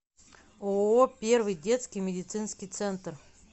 ооо первый детский медицинский центр